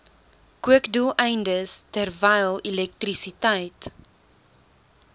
kookdoeleindes terwyl elektrisiteit